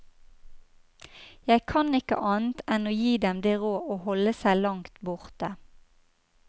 Jeg kan ikke annet enn gi dem det råd å holde seg langt borte.